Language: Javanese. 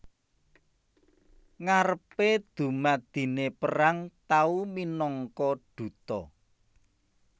Ngarepe dumadine perang tau minangka duta